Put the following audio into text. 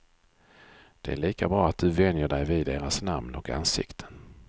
Det är lika bra att du vänjer dig vid deras namn och ansikten.